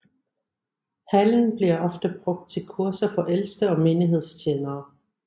Hallen bliver ofte brugt til kurser for ældste og menighedstjenere